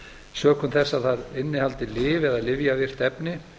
sökum þess að það innihaldi lyf eða lyfjavirkt efni